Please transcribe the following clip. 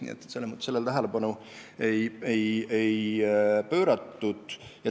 Nii et sellele me tähelepanu ei pööranud.